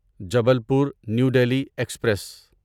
Jabalpur New Delhi express